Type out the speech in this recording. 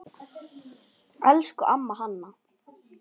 Elsku amma Hanna.